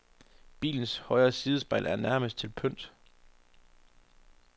Bilens højre sidespejl er nærmest til pynt.